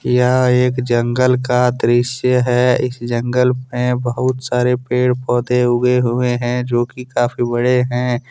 यह एक जंगल का दृश्य है इस जंगल में बहुत सारे पेड़ पौधे उगे हुए हैं जोकि काफी बड़े हैं।